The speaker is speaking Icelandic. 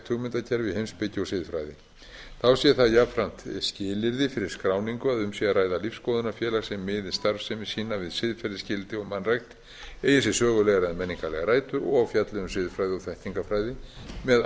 hugmyndakerfi í heimspeki og siðfræði þá sé það jafnframt skilyrði fyrir skráningu að um sé að ræða lífsskoðunarfélag sem miði starfsemi sína við siðferðisgildi og mannrækt eigi sér sögulegar eða menningarlegar rætur og fjalli um siðfræði og þekkingarfræði með